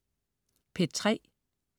P3: